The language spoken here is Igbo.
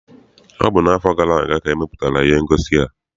Ọ bụ n'afọ gara aga ka e mepụtara ihe ngosi a.